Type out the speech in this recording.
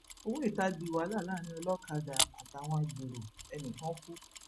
ọwọ ìta di wàhálà láàrin olókàdá àtàwọn agbéró ẹnì kan kù